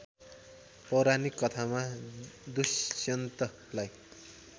पौराणिक कथामा दुष्यन्तलाई